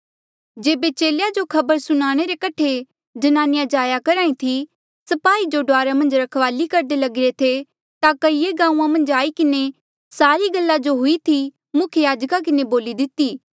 जेबे चेलेया जो खबर सुनाणे रे कठे ज्नानिया जाया करहा ई थी स्पाही जो डुआरा मन्झ रखवाली करदे लगिरे थे ता कईए गांऊँआं मन्झ आई किन्हें सारा गल्ला जो हुई थी मुख्य याजका किन्हें बोली दितेया